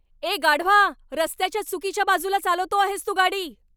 ए गाढवा. रस्त्याच्या चुकीच्या बाजूला चालवतो आहेस तू गाडी.